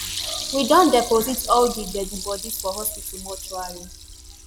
“we don deposit all di deadi bodies for hospital mortuary.